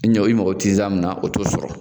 I ɲɔ i magɔ be tiza min na o te sɔrɔ